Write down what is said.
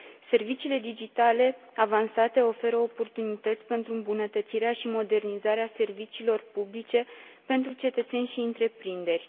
Serviciile digitale avansate oferă oportunități pentru îmbunătățirea și modernizarea serviciilor publice pentru cetățeni și întreprinderi.